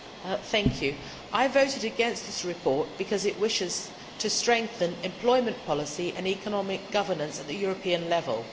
Mr President, I voted against this report, because it aims to strengthen employment policy and economic governance at European level.